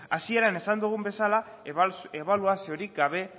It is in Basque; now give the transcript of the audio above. hasieran esan dugun bezala ebaluaziorik gabe